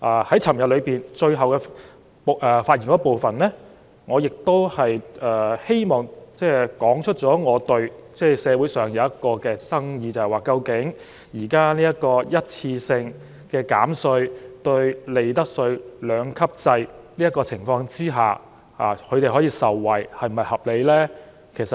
在昨天發言的最後一部分中，我亦道出了社會上一個爭議，就是究竟今次這項一次性減稅措施，在利得稅兩級制的情況下，市民是否可以合理受惠呢？